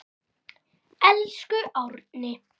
Elsku Árni.